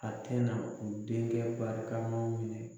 A tɛ na denkɛ barika maw minɛ.